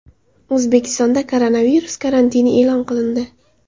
O‘zbekistonda koronavirus karantini e’lon qilindi .